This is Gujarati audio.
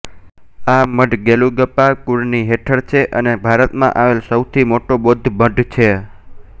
આ મઠ ગેલુગ્પા કુળ ની હેઠળ છે અને ભારતમાં આવેલ સૌથી મોટો બૌદ્ધ મઠ છે